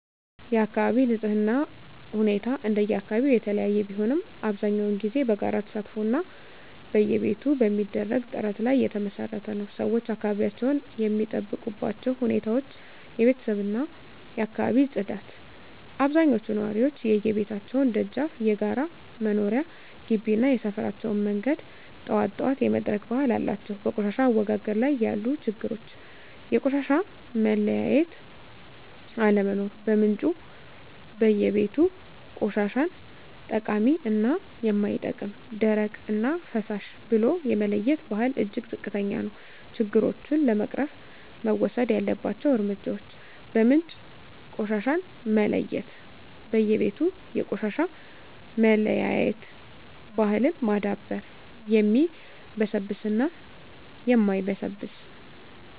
የአካባቢ ንፅህና ሁኔታ እንደየአካባቢው የተለያየ ቢሆንም፣ አብዛኛውን ጊዜ በጋራ ተሳትፎ እና በየቤቱ በሚደረግ ጥረት ላይ የተመሰረተ ነው። -ሰዎች አካባቢያቸውን የሚጠብቁባቸው ሁኔታዎች -የቤተሰብ እና የአካባቢ ፅዳት አብዛኞቹ ነዋሪዎች የየቤታቸውን ደጃፍ፣ የጋራ መኖሪያ ግቢ እና የሰፈራቸውን መንገድ ጠዋት ጠዋት የመጥረግ ባህል አላቸው። -በቆሻሻ አወጋገድ ላይ ያሉ ችግሮች -የቆሻሻ መለያየት አለመኖር በምንጩ (በየቤቱ) ቆሻሻን ጠቃሚ እና የማይጠቅም፣ ደረቅ እና ፍሳሽ ብሎ የመለየት ባህል እጅግ ዝቅተኛ ነው። -ችግሮቹን ለመቅረፍ መወሰድ ያለባቸው እርምጃዎች -በምንጭ ቆሻሻን መለየት በየቤቱ የቆሻሻ መለያየት ባህልን ማዳበር (የሚበሰብስ እና የማይበሰብስ)።